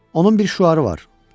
Onun bir şüarı var: